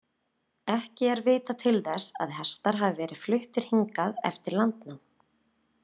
Ekki er vitað til þess að hestar hafi verið fluttir hingað eftir landnám.